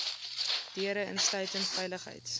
deure insluitend veiligheids